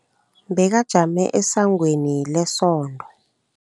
Bekajame esangweni lesonto.